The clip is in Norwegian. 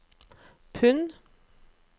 pund